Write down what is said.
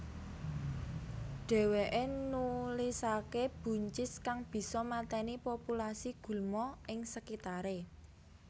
Dheweke nulisake buncis kang bisa mateni populasi gulma ing sekitare